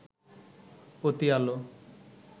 অতি আলো